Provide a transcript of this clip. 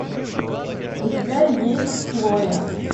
у тебя есть хлоя